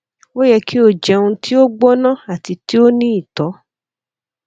o yẹ ki o jẹun ti o gbona ati ti o ni itọ